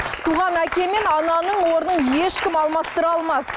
туған әке мен ананың орнын ешкім алмастыра алмас